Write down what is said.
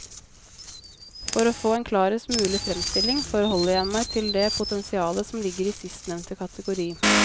For å få en klarest mulig fremstilling forholder jeg meg til det potensialet som ligger i sistnevnte kategori.